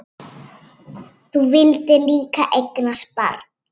Þú vildir líka eignast barn.